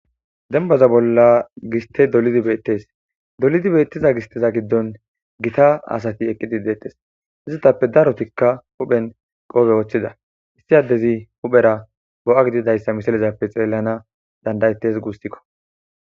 dembaza bolla giste dolidi beettes dolidi beettiza gisteza giddon gita asati eqqidi deettes izitappe darotikka huphen qoobe ooththida issi addezi huphera bo7a gididayssa misalezappe xeellana dandayettes guusikko